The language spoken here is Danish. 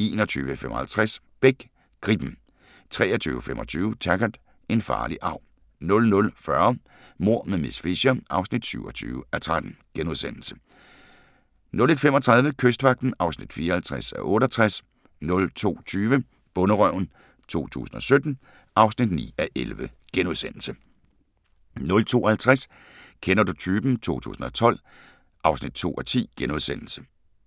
21:55: Beck: Gribben 23:25: Taggart: En farlig arv 00:40: Mord med miss Fisher (27:13)* 01:35: Kystvagten (54:68) 02:20: Bonderøven 2017 (9:11)* 02:50: Kender du typen? 2012 (2:10)*